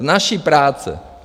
Z naší práce!